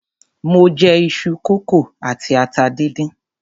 Mo jẹ iṣu kókò àti atata díndín.